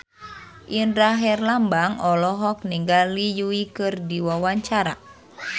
Indra Herlambang olohok ningali Yui keur diwawancara